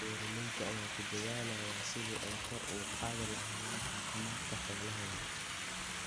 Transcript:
Beeralayda ayaa ku dadaalaya sidii ay kor ugu qaadi lahaayeen caafimaadka xoolahooda.